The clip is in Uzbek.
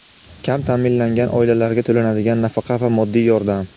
Kam taʼminlangan oilalarga to‘lanadigan nafaqa va moddiy yordam.